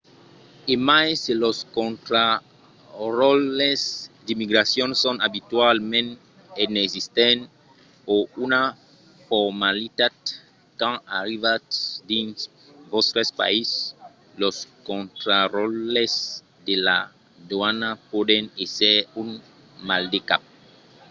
e mai se los contraròtles d’immigracion son abitualament inexistents o una formalitat quand arribatz dins vòstre país los contraròtles de la doana pòdon èsser un maldecap